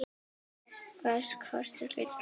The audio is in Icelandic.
Hvað kostar gull?